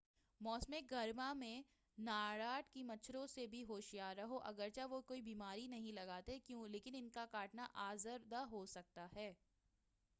موسمِ گرما میں نارڈ ک مچھروں سے بھی ہوشیار رہو اگر چہ وہ کوئی بیماری نہیں لگاتے لیکن ان کا کاٹنا آزار دہ ہو سکتا ہے